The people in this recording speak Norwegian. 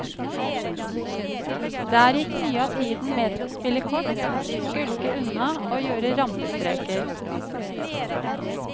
Der gikk mye av tiden med til å spille kort, skulke unna og gjøre rampestreker.